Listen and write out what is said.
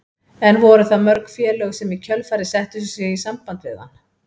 En voru það mörg félög sem í kjölfarið settu sig í samband við hann?